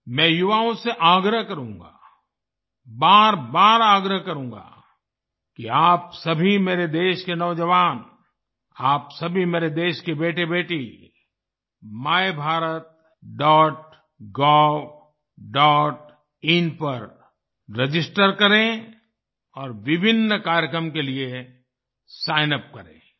मैं युवाओं से आग्रह करूँगा बारबार आग्रह करूंगा कि आप सभी मेरे देश के नौजवान आप सभी मेरे देश के बेटेबेटी मायभारतGovइन पर रजिस्टर करें और विभिन्न कार्यक्रम के लिए सिग्न यूपी करें